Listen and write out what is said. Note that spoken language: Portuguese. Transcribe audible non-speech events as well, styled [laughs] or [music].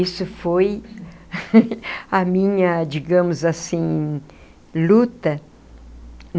Isso foi [laughs] a minha, digamos assim, luta.